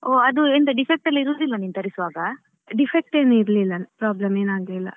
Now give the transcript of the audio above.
ಹೋ ಅದು ಎಂತ defect ಎಲ್ಲ ಇರುದಿಲ್ವ ನೀನ್ ತರಿಸುವಾಗ.